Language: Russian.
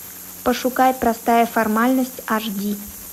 пошукай простая формальность аш ди